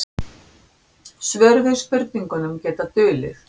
Svör við spurningum geta dulið.